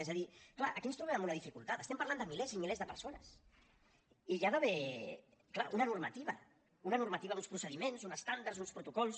és a dir clar aquí ens trobem amb una dificultat estem parlant de milers i milers de persones i hi ha d’haver clar una normativa una normativa uns procediments uns estàndards uns protocols